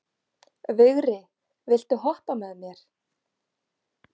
Vigri, viltu hoppa með mér?